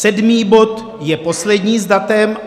Sedmý bod je poslední s datem.